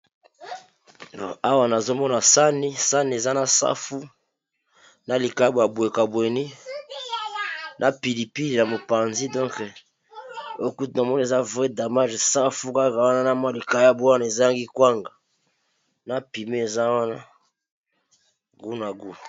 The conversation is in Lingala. Awa nazomona sani sanni eza na safu na likayabo ya bwe cabweni na pilipili ya mopanzi donke ekute na mona eza voe damage safu kaka wana na mwa likayabo wana ezangi kwanga na pime eza wana gout na gout.